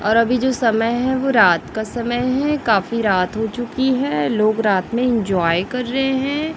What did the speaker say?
और अभी जो समय है वो रात का समय है काफी रात हो चुकी है लोग रात में इंजॉय कर रहे हैं।